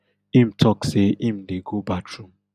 im tok say im dey go bathroom